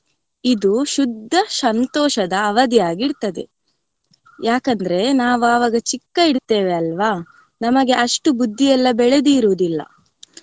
ಇದು ಶುದ್ದ ಸಂತೋಷದ ಅವದಿಯಾಗಿರ್ತದೆ ಯಾಕಂದ್ರೆ ನಾವ್ ಅವಾಗ ಚಿಕ್ಕ ಇರ್ತೇವೆ ಅಲ್ವ ನಮಗೆ ಅಷ್ಟು ಬುದ್ದಿ ಎಲ್ಲಾ ಬೆಳದಿರೋದಿಲ್ಲ.